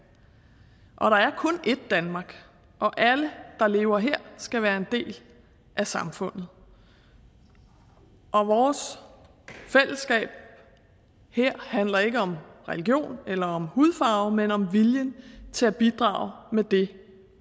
og der er kun ét danmark og alle der lever her skal være en del af samfundet vores fællesskab her handler ikke om religion eller om hudfarve men om viljen til at bidrage med det